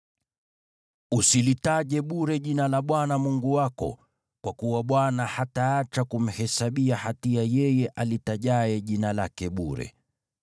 Usilitaje bure jina la Bwana Mungu wako, kwa kuwa Bwana hataacha kumhesabia hatia yeye alitajaye jina lake bure.